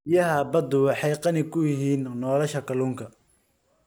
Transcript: Biyaha baddu waxay qani ku yihiin nolosha kalluunka.